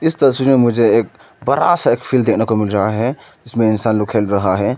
इस तस्वीर में मुझे एक बड़ा बड़ा सा एक फील्ड देखने को मिल रहा है जिसमें इंसान लोग खेल रहा है।